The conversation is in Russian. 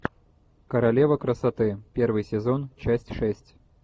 королева красоты первый сезон часть шесть